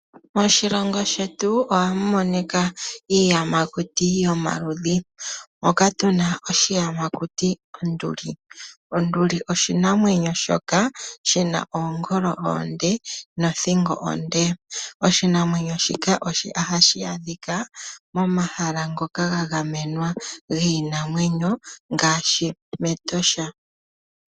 Moshilongo shetu ohamu monika iiyamakuti yomaludhi. Moka tuna oshiyamakuti onduli . Onduli oshinamwenyo oshoka shina oongolo oonde nothingo onde .Oshinamwenyo shika ohashi adhika momahala ngoka ga gamenwa giinamwenyo ngaaashi mEtosha.